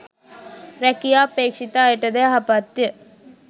රැකියා අපේක්ෂිත අයටද යහපත්ය.